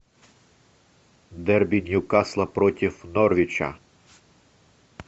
дерби ньюкасла против норвича